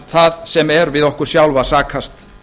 það sem er við okkur sjálf að sakast